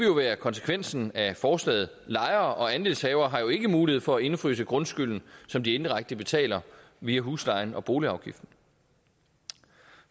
jo være konsekvensen af forslaget lejere og andelshavere har jo ikke mulighed for at indefryse grundskylden som de indirekte betaler via huslejen og boligafgiften